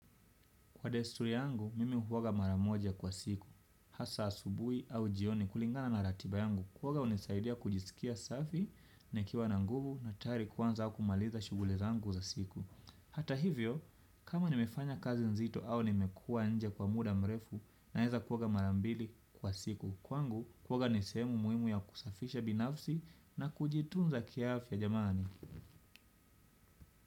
Kwa desturi yangu, mimi huoga mara moja kwa siku. Hasa asubuhi au jioni kulingana na ratiba yangu, huoga hunisaidia kujisikia safi nikiwa na nguvu na tayari kuanza au kumaliza shughuli zangu za siku. Hata hivyo, kama nimefanya kazi nzito au nimekua nje kwa muda mrefu na weza kuoga mara mbili kwa siku. Kwangu, kuoga ni sehemu muhimu ya kusafisha binafsi na kujitunza kiafya jamani.